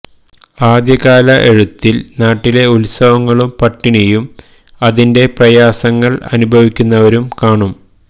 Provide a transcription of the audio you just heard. ആദ്യകാല എഴുത്തില് നാട്ടിലെ ഉത്സവങ്ങളും പട്ടിണിയും അതിന്റെ പ്രയാസങ്ങള് അനുഭവിക്കുന്നവരും കാണും